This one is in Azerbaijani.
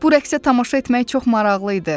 Bu rəqsə tamaşa etmək çox maraqlı idi.